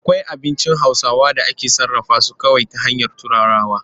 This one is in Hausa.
Akwai abincin Hausawa da ake sarrafa su kawai ta hanyar turarawa.